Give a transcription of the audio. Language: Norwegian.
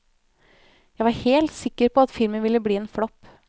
Jeg var helt sikker på at filmen ville bli en flopp.